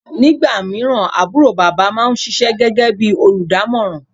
nígbàmíràn àbúrò bàbá ma ń ṣíṣe gégé bí olùdámọ̀ràn